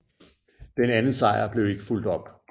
Denne anden sejr blev ikke fulgt op